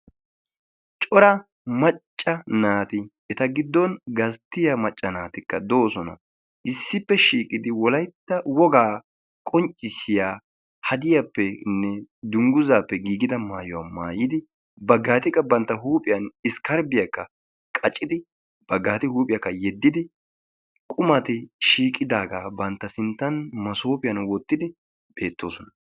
Cora macca naati eta giddon gasttiyaa macca naatikka doosona. issippe shiiqidi wolaytta wogaa qonccisiyaa hadiyaappenne dunguzaappe giigida maayuwaa maayidi baggaati qa bantta huuphphiyaan iskarbbiyaakka qaccidi baggati qa huuphphiyaakka yeddidi qumatikka shiiqidagaa bantta sinttan huuphphiyaan wottidi bettoosona.